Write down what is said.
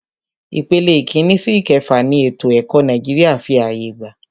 Ìpele ìkínní sí ìkẹfà ni ètò ẹ̀kọ́ Nàìjíríà fí ààyè gbà.